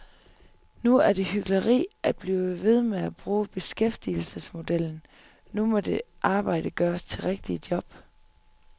Nu er det hykleri at blive ved med at bruge beskæftigelsesmodellen, nu må det arbejde gøres til rigtige jobs.